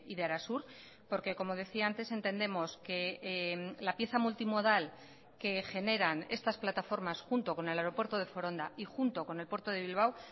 de arasur porque como decía antes entendemos que la pieza multimodal que generan estas plataformas junto con el aeropuerto de foronda y junto con el puerto de bilbao